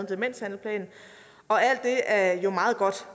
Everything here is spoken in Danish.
demenshandlingsplanen og det er jo meget godt